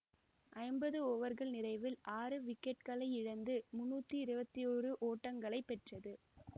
ஐம்பது ஓவர்கள் நிறைவில் ஆறு விக்கெட்களை இழந்து முன்னூற்றி இருபத்தி ஓரு ஓட்டங்களை பெற்றது